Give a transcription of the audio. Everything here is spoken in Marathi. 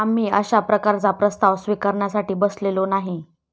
आम्ही अशा प्रकारचा प्रस्ताव स्विकारण्यासाठी बसलेलो नाही.